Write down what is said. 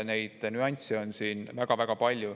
Nüansse on siin väga-väga palju.